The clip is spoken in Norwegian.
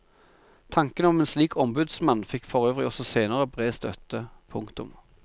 Tanken om en slik ombudsmann fikk forøvrig også senere bred støtte. punktum